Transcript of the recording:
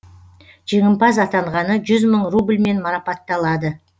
жеңімпаз атанғаны жүз мың рубльмен марапатталады